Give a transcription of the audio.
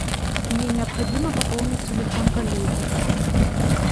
мне необходимо пополнить телефон коллеги